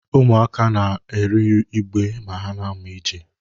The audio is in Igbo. Ụmụaka na-arị igbe ma ha na-amụ ije.